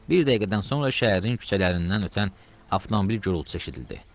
Bir dəqiqədən sonra şəhərin küçələrindən ötən avtomobil gürultusu eşidildi.